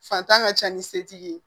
Fatan ka ca ni setigi ye